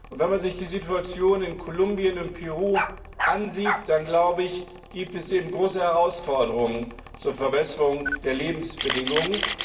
Wenn man sich die Situation in Kolumbien und Peru ansieht, dann gibt es eben große Herausforderungen zur Verbesserung der Lebensbedingungen.